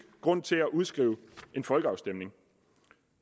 grund til at udskrive en folkeafstemning